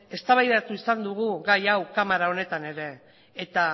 eztabaidatu izan dugu gai hau kamara honetan ere eta